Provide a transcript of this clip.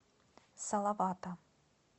салавата